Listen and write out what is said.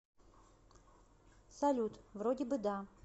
салют вроде бы да